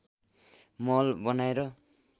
महल बनाएर